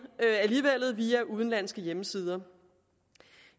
via udenlandske hjemmesider